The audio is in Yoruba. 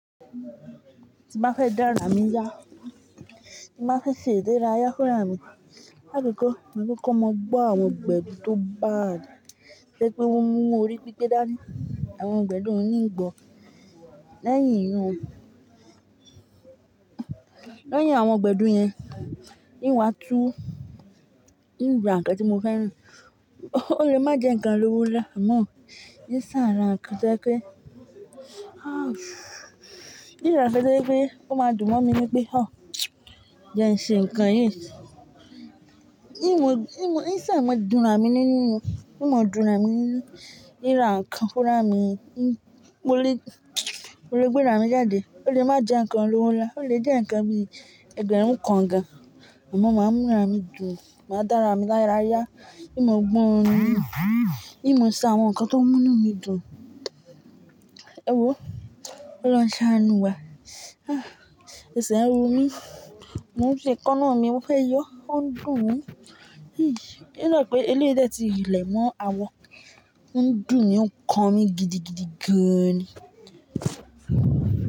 Ti n ba fẹ́ dára mi yá, tí n ba fẹ́ ṣe ìdérá yá fúnra mi. Láìpẹ́ kọ́, má kọ́ mọ gbọ́ àwọn gbẹ̀du tó bádii to je pé ó mú orí pípẹ́ dá ní àwọn gbẹ̀du oun nìgbò lẹ́yìn ẹ yun. Lẹ́yìn àwọn gbẹ̀du yẹn, in wa tún, ìn wa n kan tí mo fẹ́ran, ó lè má jẹ́ ǹkan olówó nlá, àmọ́, in sa ra inkan to jẹ pé, ìn ra inkan to jẹ́ pé ó má dùn mọ́ mi wípé, "Ọ̀, mo ǹṣe ǹkan yìí." Ìn mo ìn ṣà mọ́ dùnra mi nínú ni, ìn mọ dùnra mi nínú ìn ra nkan fúnra mi. Mo lè, mo lè gbérá mi jáde, ó lè má jẹ́ ǹkan lówó nlá, ó lè jẹ́ ǹkan bí ẹgbẹ̀rún kan gan, àmọ́ má ń múra mi dùn, má dára mi lára yá. Ìn mo gbọ́ orin, ìn mo ṣe àwọn nkan tó mú ínú mi dùn. Ewó, kọ lọhun sa àánú wa. Ẹ̀sẹ̀ ń ro mí, mo ń fi ikanáà mi, mo fẹ́ yọ ọ́ ń dùn mi. In dà pé eléyìí dẹ ti lẹ̀ mọ́ àwọ ń dùn mi ó ń kan mi gidi gidi gan ni.